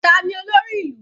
Tani olórí ìlú?